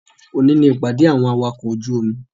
Òní ni ìpàdé àwọn awakọ̀ ojú omi